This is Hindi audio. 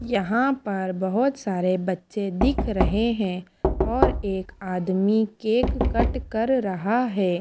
यहां पर बहोत सारे बच्चे दिख रहे हैं और एक आदमी केक कट कर रहा है।